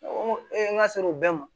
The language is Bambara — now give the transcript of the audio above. Ko n k'a sera o bɛɛ ma